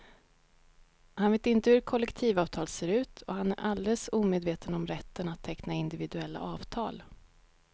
Han vet inte hur ett kollektivavtal ser ut och han är alldeles omedveten om rätten att teckna individuella avtal.